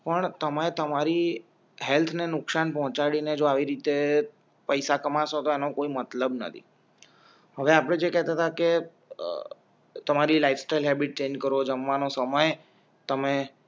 પણ તમે તમારી હેલ્થને નુકસાન પહોંચાડીને જો આવી રીતે પૈસા કમાશો તો આનો કોઈ મતલબ નથી કોઈ મતલબ નથી હવે આપડે જે કેતાતા કે અ તમારી લાઇફસ્ટાઇલ હૅબિટ ચેન્જ કરો જમવાનો સમય તમે